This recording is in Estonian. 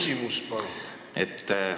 Küsimus, palun!